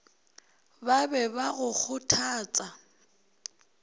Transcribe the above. ba be ba go kgothatsa